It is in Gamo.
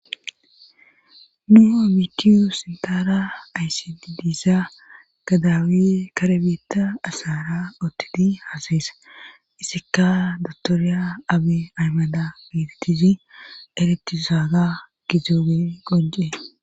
Nu abitiyu sintara aysididiisa gadawi karebeetta asara oottidi haasayesa isikka dotoriya abe aymada miidtisi eretisaaga gizoobe qoje..